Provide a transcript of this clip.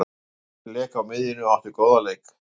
Björn lék á miðjunni og átti góðan leik.